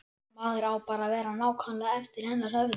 Maður á bara að vera nákvæmlega eftir hennar höfði.